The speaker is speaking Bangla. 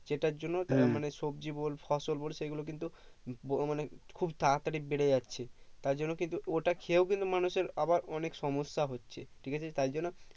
যেটার জন্য তারা মানে সবজি বল ফসল বল সেগুলোকে কিন্তু বড় মানে খুব তাড়া তাড়ি বেড়ে যাচ্ছে তার জন্য কিন্তু ওটা খেয়েও কিন্তু মানুষের আবার অনেক সমস্যা হচ্ছে ঠিকাছে তাই জন্য